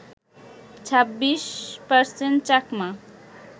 ২৬% Chakma